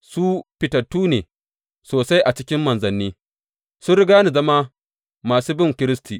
Su fitattu ne sosai a cikin manzanni, sun riga ni zama masu bin Kiristi.